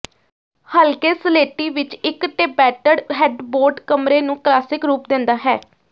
ਹਲਕੇ ਸਲੇਟੀ ਵਿੱਚ ਇੱਕ ਟੇਬੈਟਡ ਹੈਡਬੋਰਡ ਕਮਰੇ ਨੂੰ ਕਲਾਸਿਕ ਰੂਪ ਦਿੰਦਾ ਹੈ